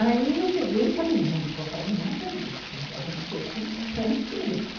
Aí eu peguei e falei, não, não vou fazer nada disso, vou fazer uma coisa completamente diferente.